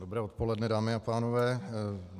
Dobré odpoledne, dámy a pánové.